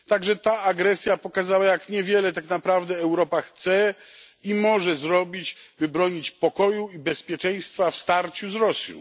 także ta agresja pokazała, jak niewiele tak naprawdę Europa chce i może zrobić, by bronić pokoju i bezpieczeństwa w starciu z Rosją.